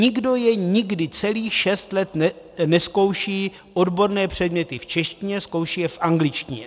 Nikdo je nikdy celých šest let nezkouší odborné předměty v češtině, zkouší je v angličtině.